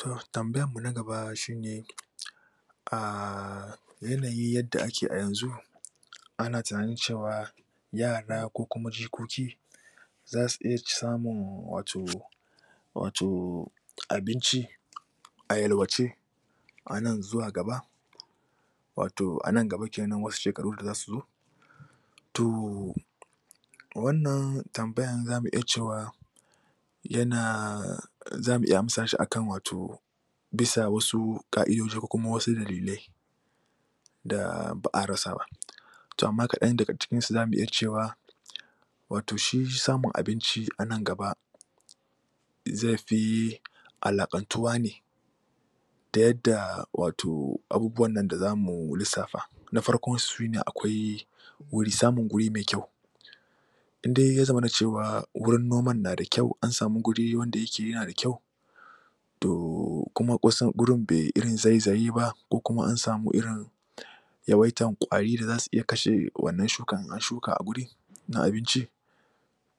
To tambayanmu na gaba shine ahh yanayi yadda ake a yanzu a na tunanin cewa yarab ko kuma jikoki, za su iya samun wato wato abinci, a yalwace anan zuwa gaba wato anan gaba kenan wasu shekaru da za su zo to.., wannan tambyar za mu iya cewa yana za mu iya amsa shi akan wato bisa wasu ka'idoji ko kuma wasu dalilai da ba'a rasa ba. To amma kaɗan daga cikinsu za mu iya cewa wato shi samun abinci anan gaba zai fi alaƙantuwa ne da yadda wato abubuwan nan da zamu lissafa. Na farkon sun shine akwai, Samin guri mai kyau. Inda ya zamana ceqwa wurin noman na da kyau an samu guri wanda yake yana da kyau to kuma kusan gurin bai irin zaizayeba ko kuma an samu irin yawaitan ƙwari da za su iya kashe wannan shukan in an shuka a wuri, na abinci,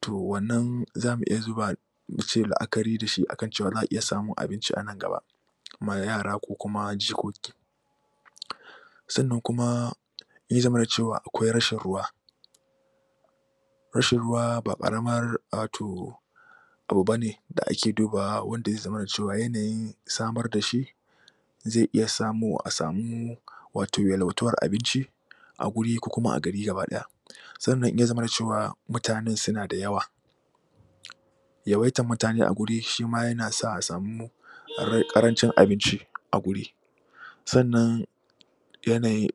to wannan za mi iya zuba muce la'akari da shi akan cewa za'a iya abinci anan gaba ma yara ko kuma jikoki Sannan kuma, in ya zamana cewa akwai rashin ruwa, rashin ruwa ba ƙaramar wato, abu bane da ake dubawa wanda ai zamana da cewa yanayi samar da shi zai iya samowa a samu wato yalwatuwar abinci, a guri ko kuma a gari gaba ɗaya. Sannan in ya zamana cewa mutanen suna da yawa, Yawaitar mutane a wuri shi ma yan sa a samu ƙarancin abinci a guri, sannan yanayi,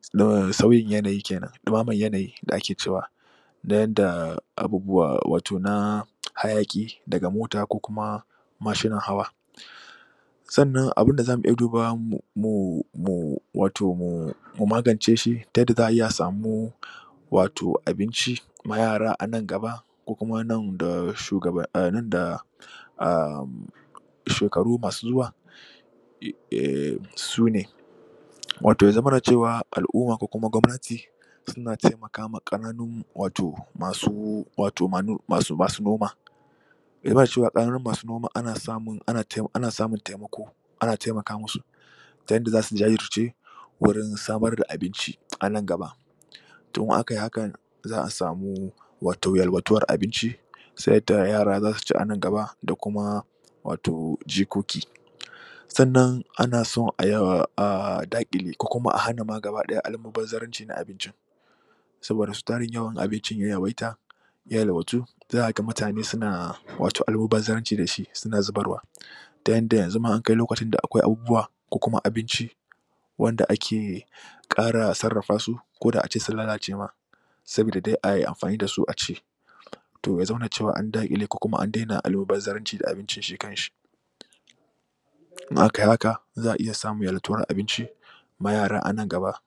sauyin yanayi kenan ɗimamar yanayi da ake cewa. Na yadda abubuwa wato na, hayaki daga mota ko kuma mashinan hawa. Sannan abunda za mu iya dubawa mu mu wato mu magance shi ta yadda za a iya a samu wato abinci, ma yara a nan gaba, ko kuma nan da ahhm shekaru masu zuwa, eeh sune: Wato ya zamana cewa al'umma ko gwamnati, suna taimakama ƙananun wato masu wato masu noma Yana da kyau masu noamn ana samun taimako ana taimaka mu su ta yadda za su ji daɗi sosai, wurin samar da abinci a nan gaba. To idan akai haka za a samu, wato yalwatuwar abinci ta yadda yara za su ci a nan gaba da kuma, wato jikoki. Sannan ana son a daƙile ko kuma a hana ma gaba ɗaya almubazarancin abincin, saboda su tarin yawan abincin ya yawaita, yalwatu, za ka ga mutane suna almubazaranci da shi suna zubarwa, ta yadda yanzu an kai lokacin da abubuwa ko kuma abinci wanda ake ƙara sarrafa su ko da ace sun lalace ma, sabida dai ai amfani da su a ci. To ya zauna cewa an daƙile ko kuma an dena almubazaranci da abincin shi kanshi in akai haka, za a iya samun yalwatuwar abinci ma yara a nan gaba.